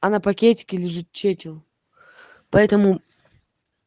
она пакетики лижет чечил поэтому